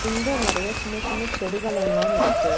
இங்க நெறய சின்ன சின்ன செடிகலெல்லா இருக்கு.